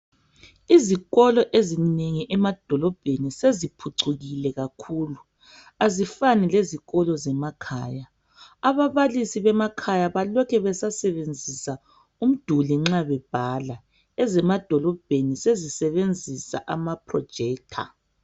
Izikolo ezinengi emadolobheni seziphucukile kakhulu azifani lezikolo zemakhaya ababalisi bemakhaya balokhe besasebenzisa umduli nxa bebhala ezemadolobheni sezisebenzisa ama projector.